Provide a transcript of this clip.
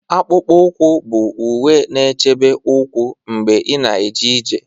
Akpụkpọ ụkwụ bụ uwe na-echebe ụkwụ mgbe ị na-eje ije